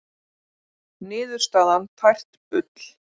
Niðurstaðan tært bull